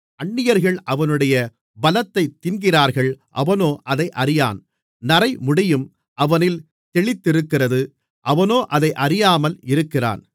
அந்நியர்கள் அவனுடைய பலத்தைத் தின்கிறார்கள் அவனோ அதை அறியான் நரைமுடியும் அவனில் தெளித்திருக்கிறது அவனோ அதை அறியாமல் இருக்கிறான்